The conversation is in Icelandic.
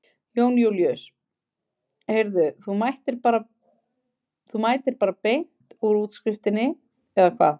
Jón Júlíus: Heyrðu þú mætir bara bein úr útskriftinni eða hvað?